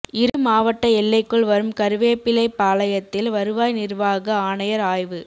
இரு மாவட்ட எல்லைக்குள் வரும் கருவேப்பிலைபாளையத்தில் வருவாய் நிா்வாக ஆணையா் ஆய்வு